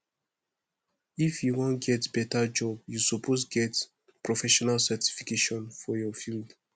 if you wan get beta job you suppose get professional certification for your field